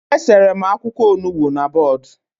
E sere m akwụkwọ Onugbu na bọọdụ